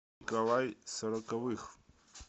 николай сороковых